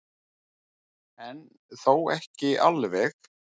En þó ekki alveg.